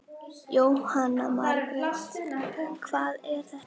Jóhanna Margrét: Hvað er þetta?